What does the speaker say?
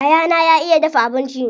Yayana ya iya dafa abinci.